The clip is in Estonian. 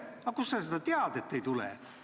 Aga kust sa seda tead, et ei tule?